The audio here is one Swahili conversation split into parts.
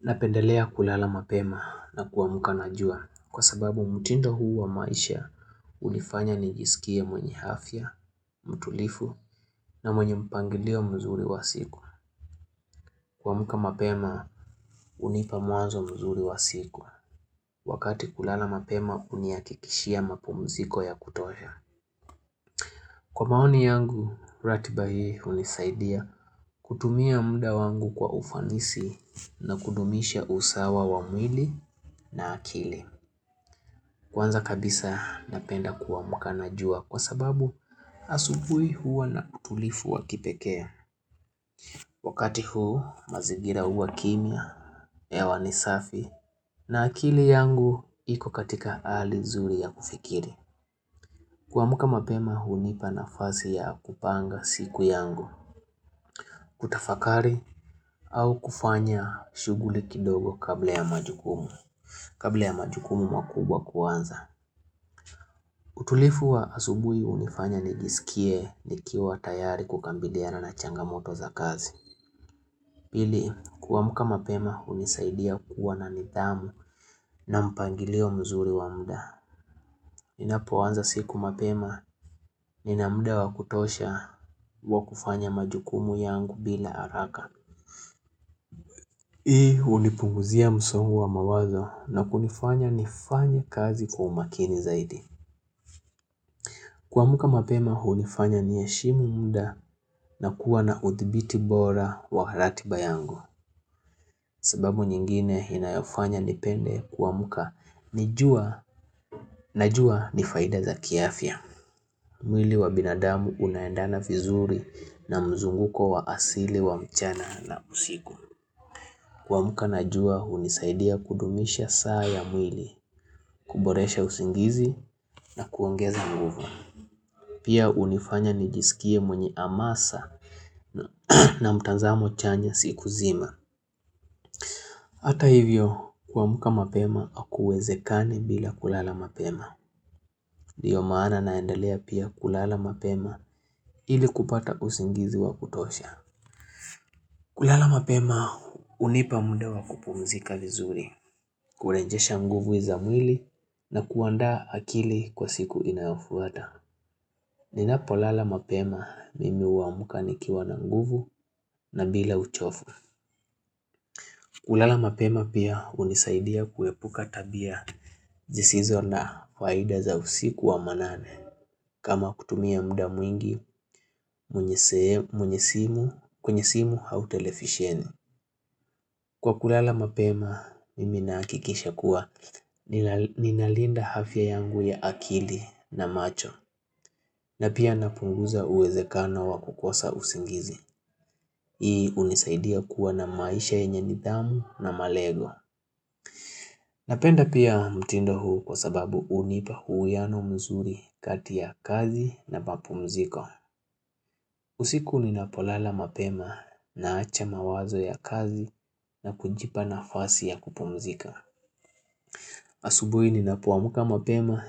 Napendelea kulala mapema na kuamka najua kwa sababu mtindo huu wa maisha ulifanya nijisikia mwenye afya, mtulivu na mwenye mpangilio mzuri wa siku. Kuamka mapema hunipa mwanzo mzuri wa siku. Wakati kulala mapema huni hakikishia mapumziko ya kutosha. Kwa maoni yangu, ratiba hii hunisaidia kutumia muda wangu kwa ufanisi na kudumisha usawa wa mwili na akili. Kwanza kabisa napenda kuamka na jua kwa sababu asubuhi huwa na utulivu wa kipekee. Wakati huu mazingira huwa kimya, hewa ni safi na akili yangu iko katika hali zuri ya kufikiri. Kuamka mapema hunipa nafasi ya kupanga siku yangu, kutafakari au kufanya shughuli kidogo kabla ya majukumu. Kabla ya majukumu makubwa kwanza. Utulivu wa asubui hunifanya nijisikie ni kiwa tayari kukabiliana na changamoto za kazi. Pili, kuamka mapema hunisaidia kuwa na nidhamu na mpangilio mzuri wa muda. Ninapoanza siku mapema ninamuda wa kutosha wa kufanya majukumu yangu bila haraka. Hii hunipunguzia msongo wa mawazo na kunifanya nifanya kazi kwa umakini zaidi. Kuamka mapema hunifanya niheshimu muda na kuwa na uthibiti bora wa ratiba yangu. Sababu nyingine inayofanya nipende kuamka ni jua na jua nifaida za kiafya. Mwili wa binadamu unaendana vizuri na mzunguko wa asili wa mchana na usiku. Kuamka na jua hunisaidia kudumisha saa ya mwili, kuboresha usingizi na kuongeza nguvu. Pia hunifanya nijisikie mwenye amasa na mtazamo chanya siku nzima Hata hivyo kuamka mapema akuwezekani bila kulala mapema ndiyo maana naendelea pia kulala mapema ili kupata usingizi wa kutosha kulala mapema hunipa muda wa kupumzika vizuri kurejesha nguvu za mwili na kuanda akili kwa siku inayofuata Ninapo lala mapema mimi huamka nikiwa na nguvu na bila uchovu kulala mapema pia hunisaidia kuepuka tabia zisizo na faida za usiku wa manane kama kutumia muda mwingi kwenye simu kwenye simu au televisheni kwa kulala mapema Mimi nakikisha kuwa Ninalinda afya yangu ya akili na macho na pia napunguza uwezekano wa kukosa usingizi hii hunisaidia kuwa na maisha yenye nidhamu na malego Napenda pia mtindo huu kwa sababu unipa huiyano mzuri kati ya kazi na mapumziko. Usiku ninapolala mapema na acha mawazo ya kazi na kujipa nafasi ya kupumzika. Asubui ninapo amka mapema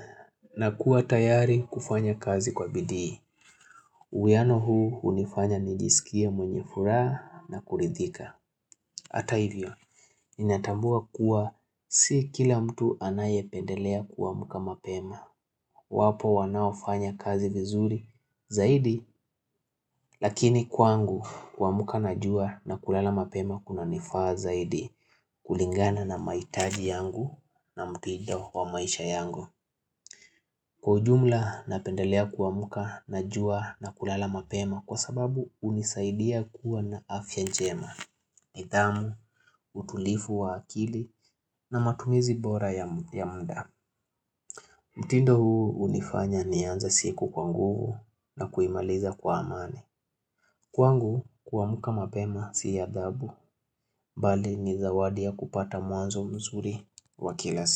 nakuwa tayari kufanya kazi kwa bidi. Uwiyano huu hunifanya nijisikia mwenye furaha na kuridhika. Hata hivyo, natambua kuwa si kila mtu anaye pendelea kuamka mapema wapo wanaofanya kazi vizuri zaidi Lakini kwangu kuamka najua na kulala mapema kuna nifaa zaidi kulingana na mahitaji yangu na mtindo wa maisha yangu Kwa ujumla napendelea kuamka najua na kulala mapema Kwa sababu hunisaidia kuwa na afya njema nidhamu, utulivu wa akili na matumizi bora ya muda mtindo huu hunifanya nianze siku kwa nguvu na kuimaliza kwa amani kwangu kuamka mapema si adhabu Bali ni zawadi ya kupata mwanzo mzuri wa kila siku.